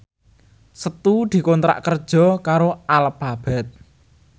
Setu dikontrak kerja karo Alphabet